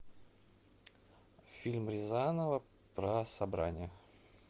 фильм рязанова про собрание